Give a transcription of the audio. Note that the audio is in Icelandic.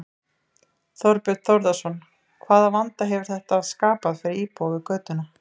Þorbjörn Þórðarson: Hvaða vanda hefur þetta skapað fyrir íbúa við götuna?